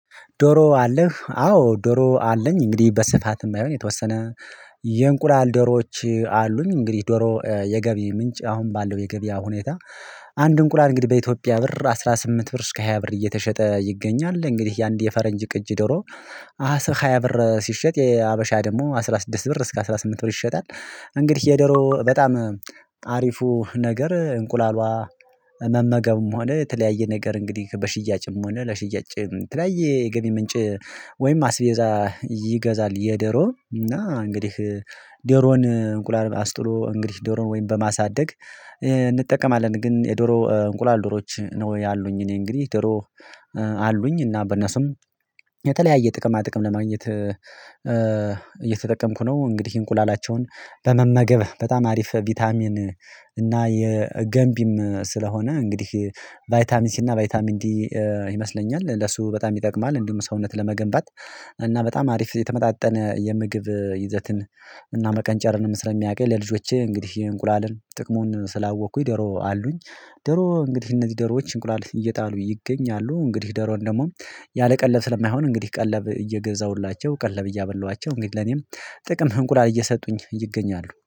ዶሮ አለህ አዎ ዶሮ አለኝ እንግዲህ በስፋት ባይሆን የተወሰነ ዶሮዎች አሉኝ እንግዲህ ዶሮ የገቢ ምንጭ አሁን ባለው የገበያ ሁኔታ። አንድ እንቁላል እንግዲህ በኢትዮጵያ ብር አስራ ስምንት ብር እስከ ሃያ ብር እየተሸጠ ይገኛል። እንግዲህ የአንድ የፈረንጅ ቅጅ ዶሮ አስራ ሃያ ብር ሲሸጥ የሀበሻ ደግሞ አስራ ስድስት ብር እስከ አስራ ስምንት ብር ይሸጣል። እንግዲህ የደሮ በጣም አሪፉ ነገር እንቁላልዋ መመገብም ሆነ የተለያየ ነገር እንግዲህ በሽያጭም ሆነ ለሽያጭ የተለያየ የገቢ ምንጭ። ወይም አስቤዛ ይገዛል የደሮ እና እንግዲህ ደሮን እንቁላል አስጥሎ እንግዲህ ዶሮን ወይም በማሳደግ እንጠቀማለን። ግን የዶሮ እንቁላል ዶሮዎች ነው ያሉኝ እኔ እንግዲህ ዶሮ አሉኝ እና በነሱም የተለያየ ጥቅማ ጥቅም ለማግኘት እየተጠቀምኩ ነው። እንግዲህ እንቁላላቸውን በመመገብ በጣም አሪፍ ቢታሚን እና የገንቢም ስለሆነ እንግዲህ ቫይታሚንሲ ሲ እና ቫይታሚን ዲ ይመስለኛል ለሱ በጣም ይጠቅማል። እንዲሁም ሰውነት ለመገንባት እና በጣም አሪፍ የተመጣጠነ የምግብ ይዘትን እና መቀንጨርንም ስለሚያቅ ለልጆቼ እንግዲህ የእንቁላልን ጥቅሙን ስላወቅኩኝ ደሮ አሉኝ። ደሮ እንግዲህ እነዚህ ደሮዎች እንቁላል እየጣሉ ይገኛሉ እንግዲህ ደሮን ደግሞ ያለቀለብ ስለማይሆን እንግዲህ ቀለብ እየገዛሁላቸው ቀለብ እያበላኋቸው እንግዲህ ለኔም ጥቅም እንቁላል እየሰጡኝ ይገኛሉ